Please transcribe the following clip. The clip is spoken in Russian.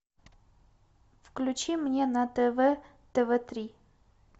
включи мне на тв тв три